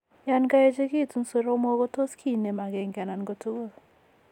Yan kaechegitun soromok kot tot kinem agenge anan ko tugul